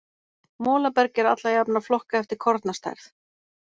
Molaberg er alla jafna flokkað eftir kornastærð.